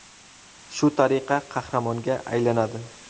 Shu tariqa qahramonga aylanadi.